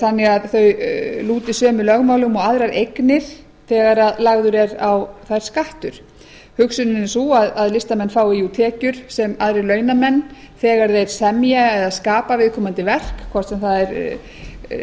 þannig að þau lúti sömu lögmálum og aðrar eignir þegar lagður er á þær skattur hugsunin er sú að listamenn fái jú tekjur sem aðrir launamenn þegar þeir semja eða skapa viðkomandi verk hvort sem það er